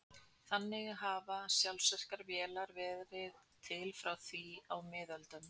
þannig hafa sjálfvirkar vélar verið til frá því á miðöldum